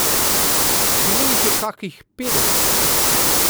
Bilo jih je kakih petdeset.